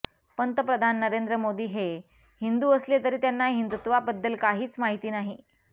पंतप्रधान नरेंद्र मोदी हे हिंदू असले तरी त्यांना हिंदुत्वाबद्दल काहीच माहीत नाही